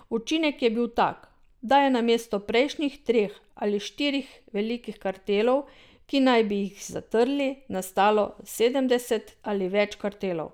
Učinek je bil tak, da je namesto prejšnjih treh ali štirih velikih kartelov, ki naj bi jih zatrli, nastalo sedemdeset ali več kartelov.